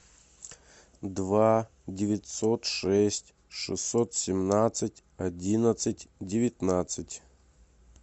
два девятьсот шесть шестьсот семнадцать одиннадцать девятнадцать